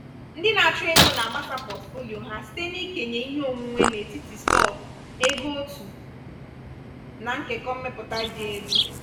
ndị na-achụ ego na-agbasa pọtụfoliyo ha site n'ikenye ihe onwunwe n'etiti stọk ego òtù na nkekọ mmepụta dị elu.